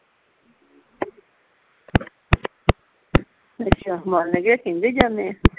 ਅੱਛਾ ਮੰਨ ਗਏ ਕਿਹਦੇ ਜਾਨੇ ਆ